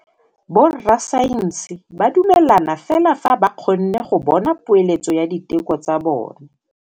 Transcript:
Borra saense ba dumela fela fa ba kgonne go bona poeletsô ya diteko tsa bone.